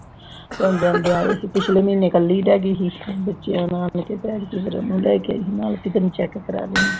ਪਿਛਲੇ ਮਹੀਨੇ ਕੱਲੀ ਰਹਿ ਗੀ ਸੀ। ਹੁਣ ਬੱਚਿਆਂ ਨੂੰ ਚੈਕ ਕਰਾਉਣ ਨੂੰ ਨੂੰ ਲੈ ਕੇ ਆਈ ਸੀ ਨਾਲ, ਵੀ ਚੈਕ ਕਰਾਲੂੰਗੀ।